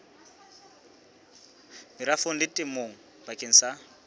merafong le temong bakeng sa